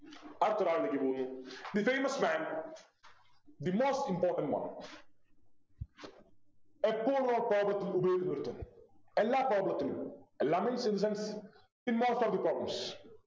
അടുത്തൊരാളിലേക്ക് പോകുന്നു The famous man The most important one എപ്പോളും problems ത്തിൽ ഉപയോഗിക്കുന്നോരുത്തൻ എല്ലാ problems ത്തിലും എല്ലാം Means in the sense the most of the problems